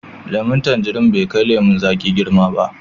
Lemun tanjirin bai kai lemun zaƙi girma ba.